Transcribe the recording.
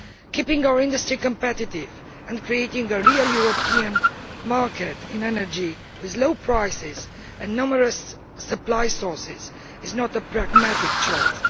Keeping our industry competitive and creating a real European market in energy with low prices and numerous supply sources is not a pragmatic choice